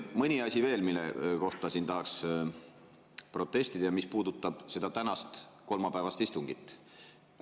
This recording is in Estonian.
Mõni asi veel, mille kohta tahaks protestida ja mis puudutab seda tänast kolmapäevast istungit.